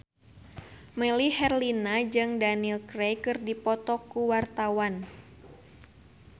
Melly Herlina jeung Daniel Craig keur dipoto ku wartawan